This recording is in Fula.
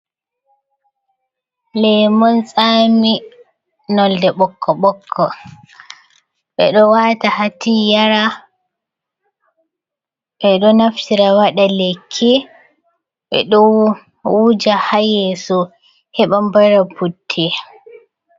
Lemun l tsami nolde ɓokko ɓokko ɓeɗo wata ha ti yara ɓe ɗo naftira waɗa lekki, ɓeɗo wuja ha yesso heɓa bara putte.